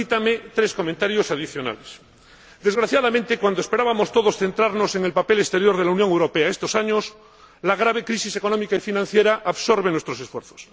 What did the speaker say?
Permítame tres comentarios adicionales Desgraciadamente, cuando todos esperábamos centrarnos en el papel exterior de la Unión Europea estos años, la grave crisis económica y financiera absorbe nuestros esfuerzos.